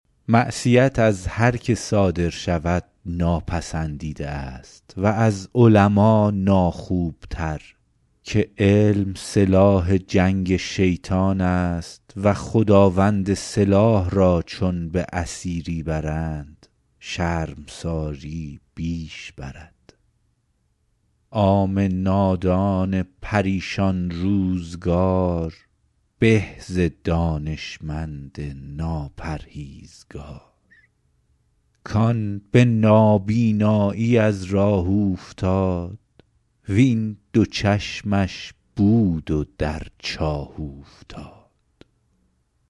معصیت از هر که صادر شود ناپسندیده است و از علما ناخوبتر که علم سلاح جنگ شیطان است و خداوند سلاح را چون به اسیری برند شرمساری بیش برد عام نادان پریشان روزگار به ز دانشمند ناپرهیزگار کآن به نابینایی از راه اوفتاد وین دو چشمش بود و در چاه اوفتاد